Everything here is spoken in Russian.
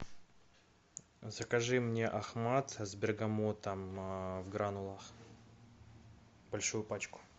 закажи мне ахмад с бергамотом в гранулах большую пачку